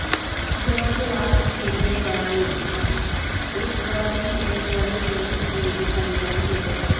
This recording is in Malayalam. ജോർജ് വാസ്സു്ഫിൻ്റെ ഭായി ഹിസ് ധൗനി എന്ന വലിയ മ്യൂസിക്‌ വീഡിയോ സംവിധാനം ചെയ്തു.